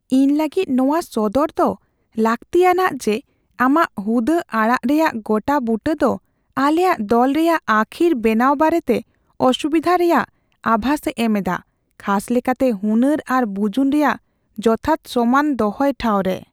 ᱤᱧ ᱞᱟᱹᱜᱤᱫ ᱱᱚᱶᱟ ᱥᱚᱫᱚᱨ ᱫᱚ ᱞᱟᱹᱠᱛᱤᱭᱟᱱᱟᱜ ᱡᱮ ᱟᱢᱟᱜ ᱦᱩᱫᱟᱹ ᱟᱲᱟᱜ ᱨᱮᱭᱟᱜ ᱜᱚᱴᱟᱼᱵᱩᱴᱟᱹ ᱫᱚ ᱟᱞᱮᱭᱟᱜ ᱫᱚᱞ ᱨᱮᱭᱟᱜ ᱟᱹᱠᱷᱤᱨ ᱵᱮᱱᱟᱣ ᱵᱟᱨᱮᱛᱮ ᱚᱥᱩᱵᱤᱫᱷᱟ ᱨᱮᱭᱟᱜ ᱟᱵᱷᱟᱥ ᱮ ᱮᱢ ᱮᱫᱟ, ᱠᱷᱟᱥ ᱞᱮᱠᱟᱛᱮ ᱦᱩᱱᱟᱹᱨ ᱟᱨ ᱵᱩᱡᱩᱱ ᱨᱮᱭᱟᱜ ᱡᱚᱛᱷᱟᱛ ᱥᱚᱢᱟᱱ ᱫᱚᱦᱚᱭ ᱴᱷᱟᱣᱨᱮ ᱾